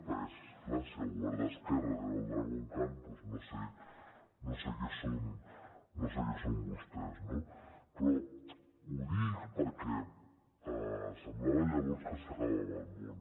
perquè és clar si el govern d’esquerres era el dragon khan doncs no sé què són vostès no però ho dic perquè semblava llavors que s’acabava el món